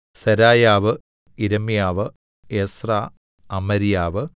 സെരായാവ് യിരെമ്യാവ് എസ്രാ അമര്യാവ്